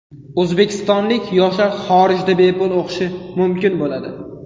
O‘zbekistonlik yoshlar xorijda bepul o‘qishi mumkin bo‘ladi.